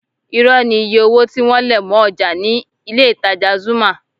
Irọ́ ni iye owó tí wọ́n lẹ̀ mọ́ ọjà ní ilé-ìtajà Zuma